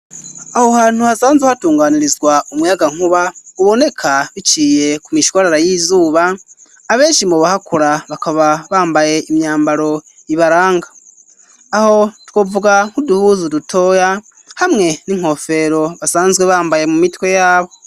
Aho hantu hasanzwe hatunganirizwa umuyagankuba uboneka biciye ku mishwarara y'izuba, abenshi mu bahakora bakaba bambaye imyambaro ibaranga ,aho twovuga nk'uduhuzu dutoya hamwe ni nkofero basanzwe bambaye mu mitwe yabo.